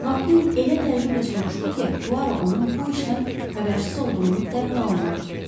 Makkuin elə təəccüblə soruşdu ki, Puaro onun bu işdən xəbərsiz olduğunu dərhal anladı.